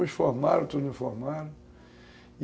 Uns formaram, outros não formaram.